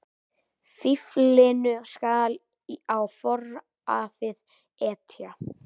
Fíflinu skal á foraðið etja.